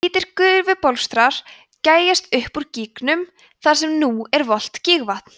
hvítir gufubólstrar gægjast upp úr gígnum þar sem nú er volgt gígvatn